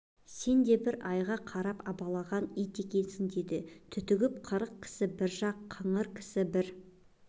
сен де бір айға қарап абалаған ит екенсің деді түтігіп қырық кісі бір жақ қыңыр кісі бір